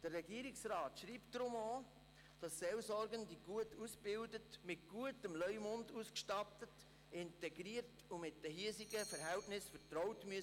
Der Regierungsrat schreibt deshalb auch, Seelsorgende müssten gut ausgebildet, mit gutem Leumund ausgestattet, integriert und mit den hiesigen Verhältnissen vertraut sein.